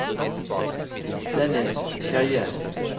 Dennis Skeie